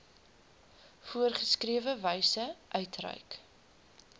voorgeskrewe wyse uitreik